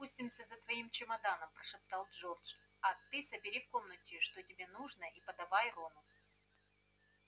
мы спустимся за твоим чемоданом прошептал джордж а ты собери в комнате что тебе нужно и подавай рону